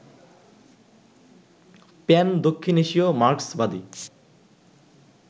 প্যান-দক্ষিণ এশীয় মার্ক্সবাদী